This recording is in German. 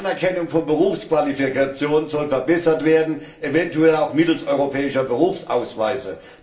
Die Anerkennung von Berufsqualifikationen soll verbessert werden, eventuell auch mittels europäischer Berufsausweise.